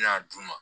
N bɛna d'u ma